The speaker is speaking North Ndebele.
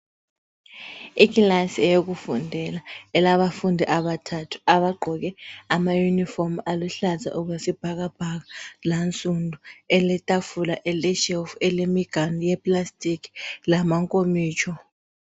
Ikilasi eyokufundela, elabafundi abathathu abagqoke ama uniform aluhlaza okwesibhakabhaka lansundu eletafula eleshelf elemiganu eye plastic lamankomitsho.